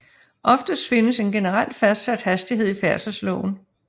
Oftest findes en generel fastsat hastighed i færdselsloven